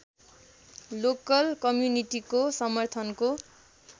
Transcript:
local कम्युनिटीको समर्थनको